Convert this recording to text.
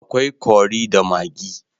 akwai Curry da maggi